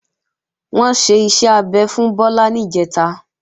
Wọ́n ṣe iṣẹ́ abẹ fún Bọ́lá níjẹ̀ta